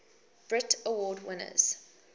brit award winners